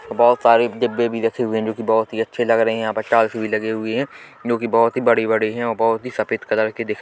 बहोत सारे डिब्बे भी रखे हुए है जोकी बहोत ही अच्छे लग रहे है यहां पर टाइल्स भी लगी हुई है जोकी बहोत ही बड़े बड़े है और बहोत ही सफेद कलर की दिख--